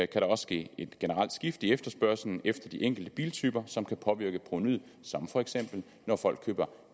der også ske et generelt skifte i efterspørgslen efter de enkelte biltyper som kan påvirke provenuet som for eksempel når folk køber